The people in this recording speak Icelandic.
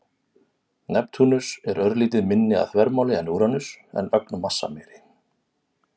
Neptúnus er örlítið minni að þvermáli en Úranus en ögn massameiri.